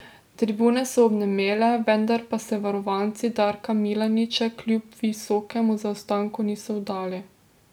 Tribune so obnemele, vendar pa se varovanci Darka Milaniča kljub visokemu zaostanku niso vdali.